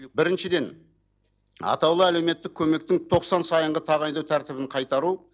біріншіден атаулы әлеуметтік көмектің тоқсан сайынғы тағайындау тәртібін қайтару